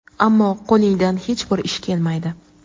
ammo qo‘lingdan hech bir ish kelmaydi.